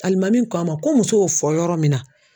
Alimami k'a ma ko muso y'o fɔ yɔrɔ min na